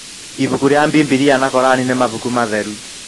ibuku ria bibilia na koran nĩ mabuku matheru.